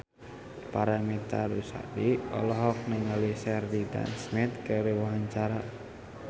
Paramitha Rusady olohok ningali Sheridan Smith keur diwawancara